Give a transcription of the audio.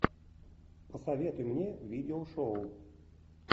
посоветуй мне видеошоу